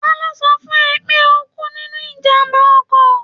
Ta ló sọ fún ẹ pé ó kú nínú ijàm̀bá ọkọ̀?